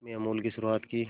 में अमूल की शुरुआत की